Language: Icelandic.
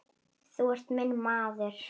Þú ert minn maður.